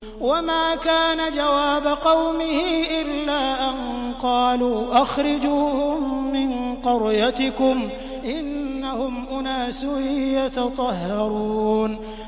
وَمَا كَانَ جَوَابَ قَوْمِهِ إِلَّا أَن قَالُوا أَخْرِجُوهُم مِّن قَرْيَتِكُمْ ۖ إِنَّهُمْ أُنَاسٌ يَتَطَهَّرُونَ